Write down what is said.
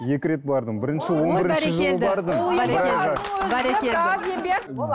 екі рет бардым он бірінші жылы бардым бәрекелді бәрекелді